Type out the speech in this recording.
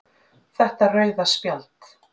Þetta rauða spjald.